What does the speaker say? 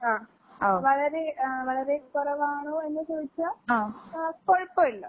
ആഹ് വളരെ ആഹ് വളരെ കൊറവാണോ എന്ന് ചോദിച്ചാ ആഹ് കൊഴപ്പവില്ല.